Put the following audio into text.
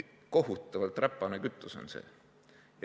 Kohutavalt räpane kütus on see.